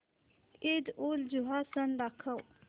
ईदउलजुहा सण दाखव